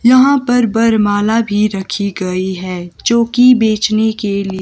यहां पर वरमाला भी रखी गई है जोकि बेचने के ल--